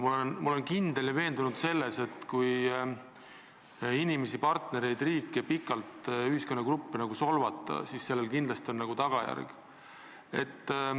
Ma olen veendunud, et kui inimesi, partnereid, riike, ühiskonnagruppe pikalt solvata, siis sellel kindlasti on tagajärg.